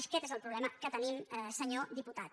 aquest és el problema que tenim senyor diputat